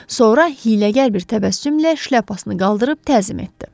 Sonra hiyləgər bir təbəssümlə şlyapasını qaldırıb təzim etdi.